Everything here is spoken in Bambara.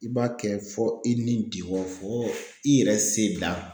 I b'a kɛ fɔ i ni diŋɔ fo i yɛrɛ se dan.